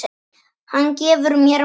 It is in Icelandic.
Hann gefur mér mat.